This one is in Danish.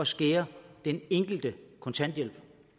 skære i den enkeltes kontanthjælp